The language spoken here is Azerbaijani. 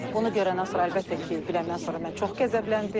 Bunu görəndən sonra əlbəttə ki, biləndən sonra mən çox qəzəbləndim.